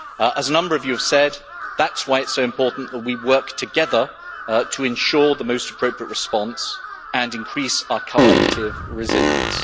As a number of you have said, that is why it is so important that we work together to ensure the most appropriate response and increase our collective resilience.